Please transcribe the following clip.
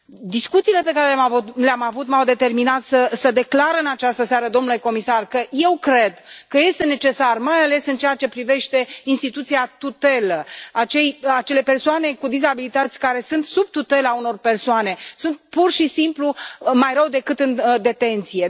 Discuțiile pe care le am avut m au determinat să declar în această seară, domnule comisar, pentru că eu cred că este necesar, mai ales în ceea ce privește instituția tutelă, că acele persoane cu dizabilități care sunt sub tutela unor persoane sunt pur și simplu mai rău decât în detenție.